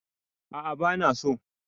A'a bana so